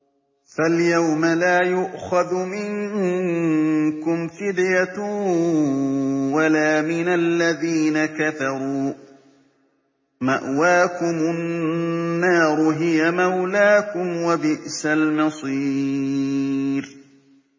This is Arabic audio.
فَالْيَوْمَ لَا يُؤْخَذُ مِنكُمْ فِدْيَةٌ وَلَا مِنَ الَّذِينَ كَفَرُوا ۚ مَأْوَاكُمُ النَّارُ ۖ هِيَ مَوْلَاكُمْ ۖ وَبِئْسَ الْمَصِيرُ